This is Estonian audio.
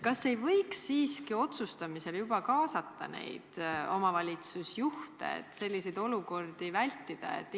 Kas ei võiks siiski juba otsustamisel kaasata omavalitsusjuhte, et selliseid olukordi vältida?